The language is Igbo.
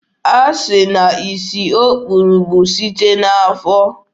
Asị na isi o kpuru bụ site n'afọ.